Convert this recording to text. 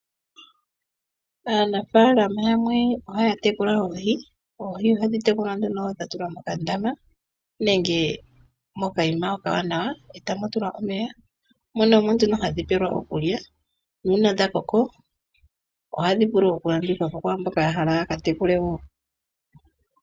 Aanafaalama yamwe ohay atekula oohi. Oohi ohadhi tekulwa dha tulwa mokandama nenge mokayima okawanawa e tamu tulwa omeya. Mono omo nduno hadhi pelwa rokulya nuuna dha koko ohadhi vulu okulandithwa po kwaa mbono ya hala ya ka tekule wo.